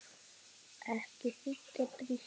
Ekki þiggja drykki.